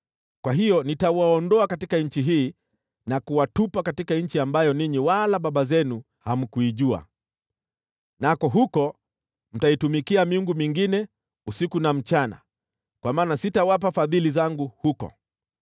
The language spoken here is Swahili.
Kwa hiyo nitawaondoa katika nchi hii na kuwatupa katika nchi ambayo ninyi wala baba zenu hamkuijua, nako huko mtaitumikia miungu mingine usiku na mchana, kwa maana sitawapa fadhili zangu huko.’